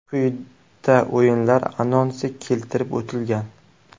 Quyida o‘yinlar anonsi keltirib o‘tilgan.